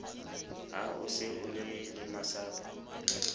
ha o se o lemasapo